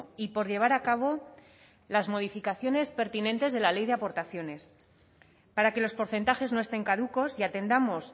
y por llevar a cabo las modificaciones pertinentes de la ley de aportaciones para que los porcentajes no estén caducos y atendamos